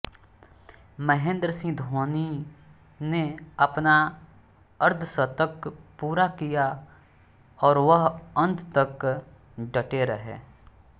महेंद्र सिंह धोनी ने अपना अर्धशतक पूरा किया और वह अंत तक डटे रहे